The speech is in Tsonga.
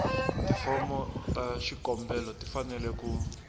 tifomo ta xikombelo tifanele ku